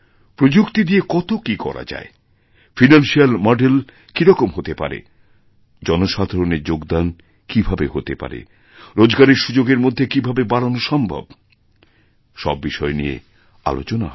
প্রযুক্তি দিয়ে কত কীকরা যায় ফাইনান্সিয়াল মডেল কীরকম হতে পারে জনসাধারণের যোগদান কীভাবে হতে পারেরোজগারের সুযোগ এর মধ্যে কী ভাবে বাড়ানো সম্ভব সব বিষয় নিয়ে আলোচনা হবে